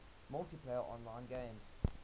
multiplayer online games